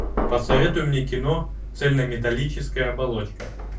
посоветуй мне кино цельнометаллическая оболочка